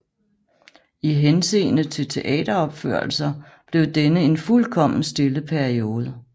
I henseende til teateropførelser blev denne en fuldkommen stille periode